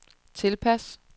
tilpas